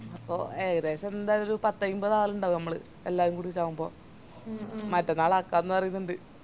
അപ്പൊ ഏകദേശം എന്തായിറ്റും ഒര് പത്തയിമ്പത് ആളിണ്ടാവും മ്മള് എല്ലാരും കൂടിറ്റ് ആവുമ്പൊ മറ്റന്നാളാക്കാന്ന് പറേന്നുണ്ട്